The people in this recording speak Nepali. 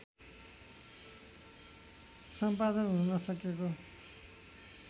सम्पादन हुन नसकेको